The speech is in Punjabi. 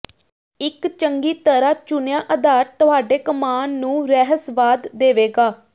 ਇਕ ਚੰਗੀ ਤਰ੍ਹਾਂ ਚੁਣਿਆ ਆਧਾਰ ਤੁਹਾਡੇ ਕਮਾਨ ਨੂੰ ਰਹੱਸਵਾਦ ਦੇਵੇਗਾ